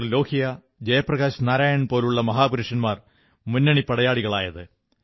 ലോഹ്യയെയും ജയപ്രകാശ് നാരായണനെയും പോലുള്ള മഹാപുരുഷന്മാർ മുന്നണിപ്പടയാളികളായത്